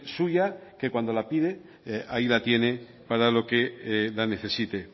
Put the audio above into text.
suya que cuando la pide ahí la tiene para lo que la necesite